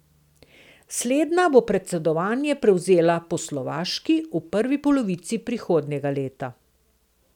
Slednja bo predsedovanje prevzela po Slovaški v prvi polovici prihodnjega leta.